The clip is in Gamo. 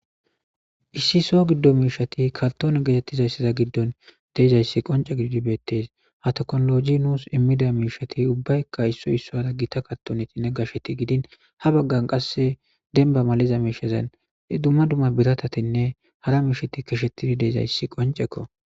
Issi sohon gido mishshsti karttonne gettetizayssi gidon dizays qoncce gididi bettes hatekkinolojjey nusi immida mishshati ubbayka issoy issoy gita kartoneyka gashsheti gidin ha baggera qase demba malizaysan dumma dumma biratatinne hara mishshati keshsheti diizayssi qonccekko.